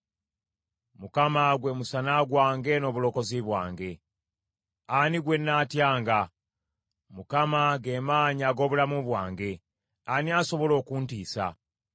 Mukama gwe musana gwange n’obulokozi bwange; ani gwe nnaatyanga? Mukama ge maanyi ag’obulamu bwange; ani asobola okuntiisa?